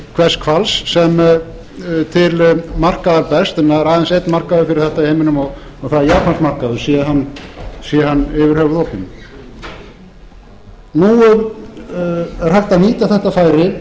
hvers hvals sem til markaðar berst en það er aðeins einn markaður fyrir þetta í heiminum og það er japansmarkaður sé hann yfir höfuð opinn nú er hægt að nýta þetta færi